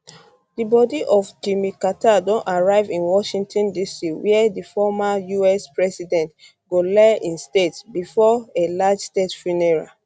di body of jimmy carter don arrive in washington dc wia di former us president go lie in state bifor a large state funeral